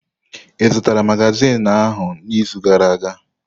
Ị zụtara magazin ahụ n'izu gara aga?